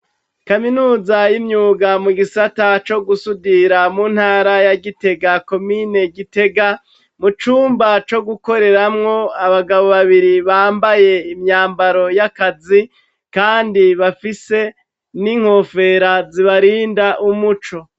Kaminuza y'imyuga mu gisata co gusudira mu ntara ya Gitega, komine Gitega, mu cumba co gukoreramwo, abagabo babiri bambaye imyambaro y'akazi kandi bafise n'inkofera zibarinda umuco.